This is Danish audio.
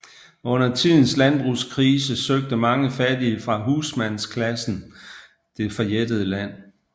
Under tidens landbrugskrise søgte mange fattige fra husmandsklassen det forjættede land